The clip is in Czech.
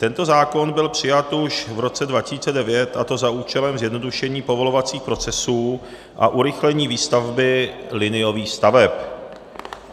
Tento zákon byl přijat už v roce 2009, a to za účelem zjednodušení povolovacích procesů a urychlení výstavby liniových staveb.